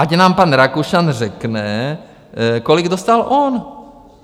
Ať nám pan Rakušan řekne, kolik dostal on.